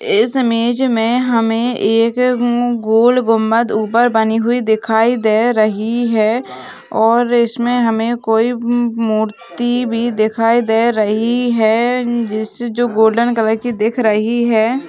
इस इमेज में हमें एक गोल गुंबद ऊपर बनी हुई दिखाई दे रही है और इसमें हमें कोई मूर्ति भी दिखाई दे रही है जिसे जो गोल्डन कलर की देख रही है।